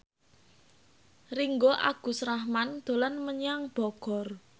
Ringgo Agus Rahman dolan menyang Bogor